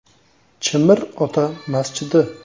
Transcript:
“Chimir ota” masjidi.